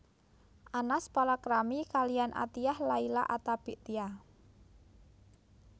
Anas palakrami kaliyan Athiyyah Laila Attabik Tia